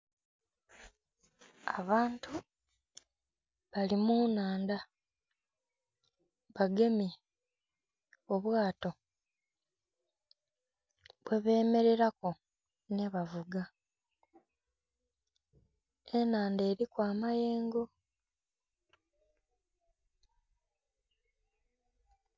Abantu bali mu nhaandha bagemye obwato bwe bemereireku nhi bavuuga, enhandha eriku amayengo.